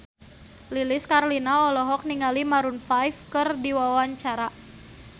Lilis Karlina olohok ningali Maroon 5 keur diwawancara